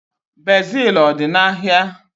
Bezil ọ dị n'ahịa?